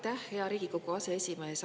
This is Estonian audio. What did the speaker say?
Aitäh, hea Riigikogu aseesimees!